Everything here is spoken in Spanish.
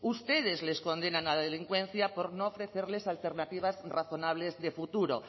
ustedes les condenan a delincuencia por no ofrecerles alternativas razonables de futuro